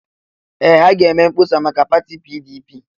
Ee! Ha ga-eme mkpọsa maka pati PDP.